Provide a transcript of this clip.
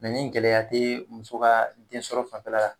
Mɛ ni gɛlɛya te muso ka den sɔrɔ fanfɛla la